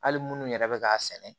Hali munnu yɛrɛ bɛ k'a sɛnɛ